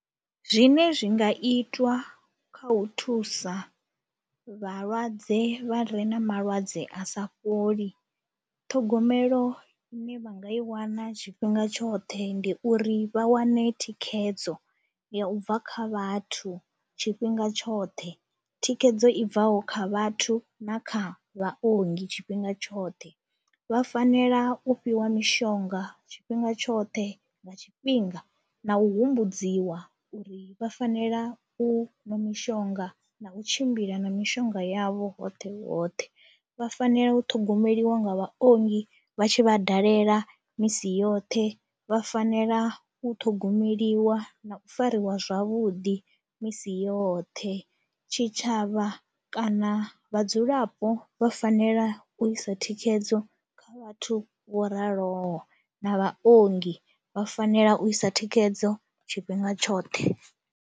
Zwine zwi nga itwa kha u thusa vhalwadze vha re na malwadze a sa fholi, ṱhogomelo i ne vha nga i wana tshifhinga tshoṱhe ndi uri vha wane thikhedzo ya u bva kha vhathu tshifhinga tshoṱhe, thikhedzo i bvaho kha vhathu na kha vhaongi tshifhinga tshoṱhe. Vha fanela u fhiwa mishonga tshifhinga tshoṱhe nga tshifhinga na u humbudziwa uri vha fanela u ṅwa mishonga na u tshimbila na mishonga yavho hoṱhe hoṱhe. Vha fanela u ṱhogomeliwa nga vhaongi vha tshi vha dalela misi yoṱhe, vha fanela u ṱhogomeliwa na u fariwa zwavhuḓi misi yoṱhe, tshitshavha kana vhadzulapo vha fanela u isa thikhedzo kha vhathu vho raloho na vhaongi vha fanela u isa thikhedzo tshifhinga tshoṱhe.